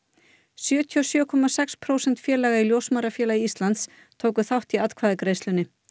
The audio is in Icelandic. sjötíu og sjö komma sex prósent félaga í Ljósmæðrafélagi Íslands tóku þátt í atkvæðagreiðslunni